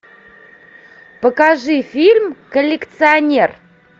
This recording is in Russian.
покажи фильм коллекционер